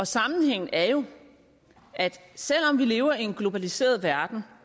sammenhængen er jo at selv om vi lever i en globaliseret verden